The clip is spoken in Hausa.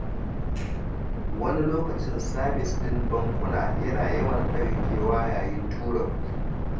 Wani lokacin sabis ɗin bankuna yana ɗaukewa yayin tura kuɗi.